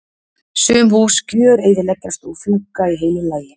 Sum hús gjöreyðileggjast og fjúka í heilu lagi.